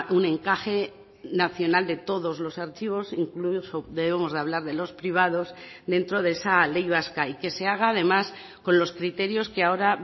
un encaje nacional de todos los archivos incluso debemos de hablar de los privados dentro de esa ley vasca y que se haga además con los criterios que ahora